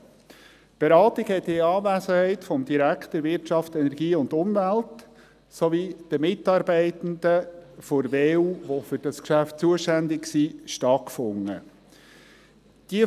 Die Beratung fand in Anwesenheit des WEU-Direktors sowie der für dieses Geschäft zuständigen Mitarbeitenden der WEU statt.